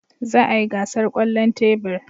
Za a yi gasar kwallon tebur.